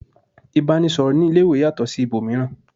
ìbánisọ̀rọ̀ ní ilé ìwé yàtọ̀ sí ibòmíràn